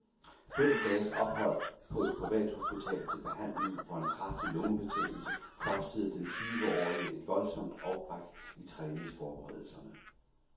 Fem dages ophold på et privathospital til behandling for en kraftig lungebetændelse kostede den tyveårige et voldsomt afbræk i træningsforberedelserne.